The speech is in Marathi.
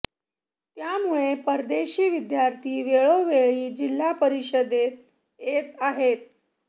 त्यामुळे परदेशी विद्यार्थी वेळोवेळी जिल्हा परिषदेत येत आहेत